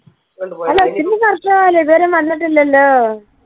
അല്ല എന്ത് പറഞ്ഞാലും ഇതുവരേം വന്നിട്ടില്ലല്ലോ